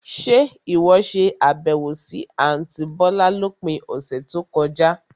Ṣe ìwọ ṣe àbẹ̀wò sì àntí bọ̀lá lópin ọ̀sẹ̀ tó kọjá?